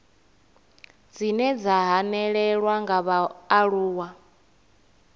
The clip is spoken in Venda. dzine dza hanelelwa nga vhaaluwa